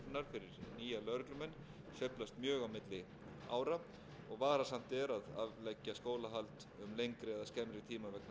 sveiflast mjög á milli ára og varasamt er að afleggja skólahald um lengri eða skemmri tíma vegna sveiflna